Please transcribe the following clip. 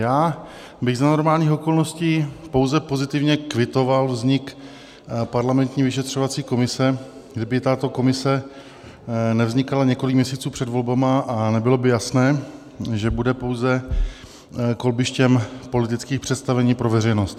Já bych za normálních okolností pouze pozitivně kvitoval vznik parlamentní vyšetřovací komise, kdyby tato komise nevznikala několik měsíců před volbami a nebylo by jasné, že bude pouze kolbištěm politických představení pro veřejnost.